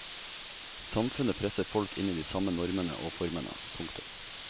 Samfunnet presser folk inn i de samme normene og formene. punktum